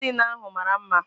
Magazin ahụ mara mma